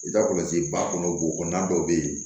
I ka kɔlɔsi ba kɔnɔ golo na dɔw bɛ yen